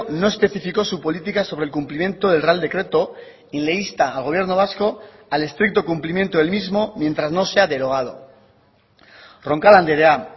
no especificó su política sobre el cumplimiento del real decreto y le insta al gobierno vasco al estricto cumplimiento del mismo mientras no sea derogado roncal andrea